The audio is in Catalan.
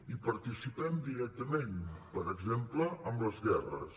hi participem directament per exemple amb les guerres